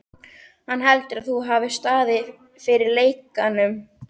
Hann heldur, að þú hafir staðið fyrir lekanum